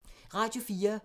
Radio 4